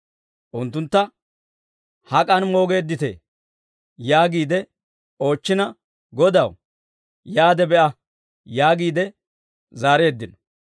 Unttuntta, «Hak'an moogeedditee?» yaagiide oochchina, «Godaw, yaade be'a» yaagiide zaareeddino.